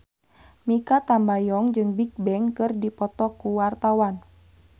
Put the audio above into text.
Mikha Tambayong jeung Bigbang keur dipoto ku wartawan